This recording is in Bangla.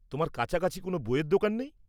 তোমার কাছাকাছি কোনও বইয়ের দোকান নেই?